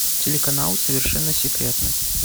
телеканал совершенно секретно